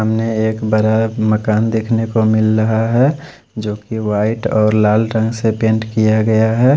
सामने एक बरा मकान देखने को मिल रहा है जो की वाइट और लाल रंग से पेंट किया गया है।